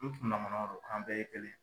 N kunnama damaw do k'an bɛɛ ye kelen.